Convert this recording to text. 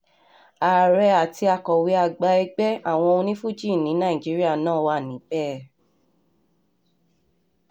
ààrẹ àti akọ̀wé àgbà ẹgbẹ́ àwọn onifuji ní nàìjíríà náà wà níbẹ̀